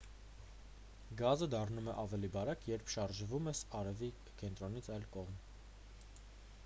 գազը դառնում է ավելի բարակ երբ շարժվում ես արևի կենտրոնից այն կողմ